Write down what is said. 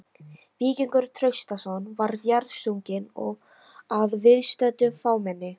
Víkingur Traustason var jarðsunginn að viðstöddu fámenni.